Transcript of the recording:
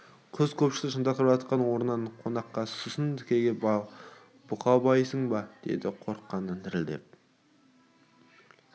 құс көпшікті шынтақтап жатқан орнынан конаққа сұсын тікгі бұқабайсың ба деді қорыққанын білдіртпей